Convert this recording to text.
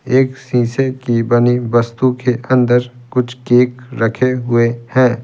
एक शीशे की बनी वस्तु के अंदर कुछ केक रखे हुए है।